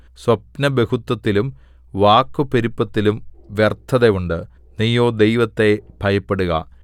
സ്വപ്നബഹുത്വത്തിലും വാക്കുപെരുപ്പത്തിലും വ്യർത്ഥത ഉണ്ട് നീയോ ദൈവത്തെ ഭയപ്പെടുക